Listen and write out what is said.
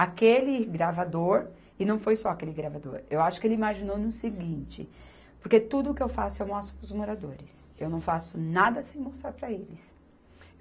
Aquele gravador, e não foi só aquele gravador, eu acho que ele imaginou no seguinte, porque tudo que eu faço eu mostro para os moradores, eu não faço nada sem mostrar para eles.